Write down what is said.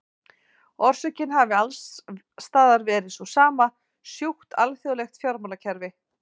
Orsökin hafi alls staðar verið sú sama, sjúkt alþjóðlegt fjármálakerfi.